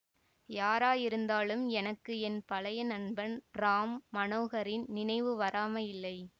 யாராயிருந்தாலும் எனக்கு என் பழைய நண்பன் ராம் மனோகரின் நினைவு வராமலில்லை